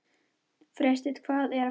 Freysteinn, hvað er að frétta?